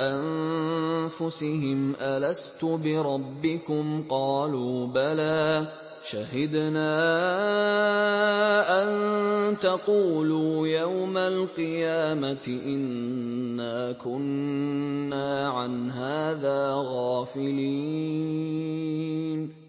أَنفُسِهِمْ أَلَسْتُ بِرَبِّكُمْ ۖ قَالُوا بَلَىٰ ۛ شَهِدْنَا ۛ أَن تَقُولُوا يَوْمَ الْقِيَامَةِ إِنَّا كُنَّا عَنْ هَٰذَا غَافِلِينَ